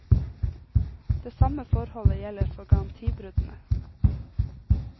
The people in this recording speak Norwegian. Det samme forholdet gjelder for garantibruddene.